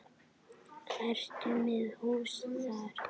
Ertu með hús þar?